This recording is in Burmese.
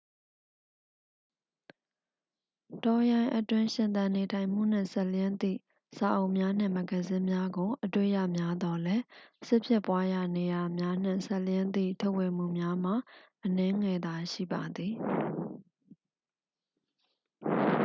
တောရိုင်းအတွင်း ရှင်သန်နေထိုင်မှုနှင့် စပ်လျဉ်းသည့် စာအုပ်များနှင့် မဂ္ဂဇင်းများကို အတွေ့ရများသော်လည်း စစ်ဖြစ်ပွားရာနေရာများနှင့် စပ်လျဉ်းသည့် ထုတ်ဝေမှုများမှာ အနည်းငယ်သာရှိပါသည်